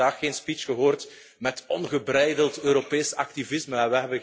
We hebben vandaag geen speech gehoord met ongebreideld Europees activisme.